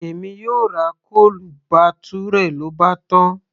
èmi yóò ra chole bhature, lóbátán